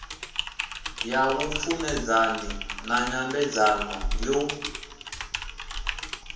ya vhupfumedzanyi na nyambedzano yo